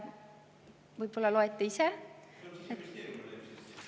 Võib-olla loete ise?